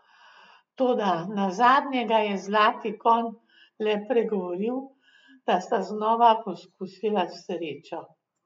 Toda nazadnje ga je zlati konj le pregovoril, da sta znova poskusila srečo.